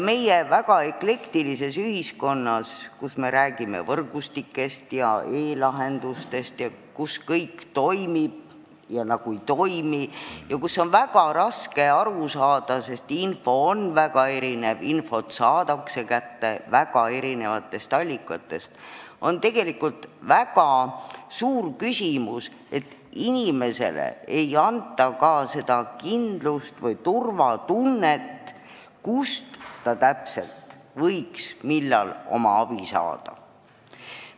Meie väga eklektilises ühiskonnas, kus me räägime võrgustikest ja e-lahendustest ning kus kõik toimib ja nagu ka ei toimi ja kus on väga raske asjadest aru saada, sest info on väga erinev ja infot saadakse kätte väga erinevatest allikatest, on tegelikult väga suur küsimus see, et inimesele ei anta ka seda kindlust või turvatunnet, et ta teaks, kust ja millal ta täpselt võiks abi saada.